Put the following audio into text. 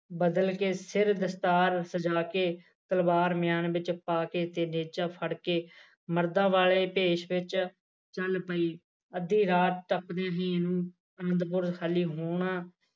ਬਦਲ ਕੇ ਫਿਰ ਦਸਤਾਰ ਸਜਾ ਕੇ ਤਲਵਾਰ ਮਿਆਨ ਵਿੱਚ ਪਾ ਕੇ ਤੇ ਨੇਜਾ ਫੜ ਕੇ ਮਰਦਾਂ ਵਾਲੇ ਭੇਸ ਵਿੱਚ ਚਲ ਪਏ ਅੱਧੀ ਰਾਤ ਤੱਕ ਅਨੰਦਪੁਰ ਖਾਲੀ ਹੋਣਾ